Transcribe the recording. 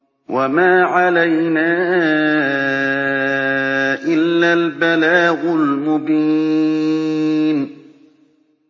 وَمَا عَلَيْنَا إِلَّا الْبَلَاغُ الْمُبِينُ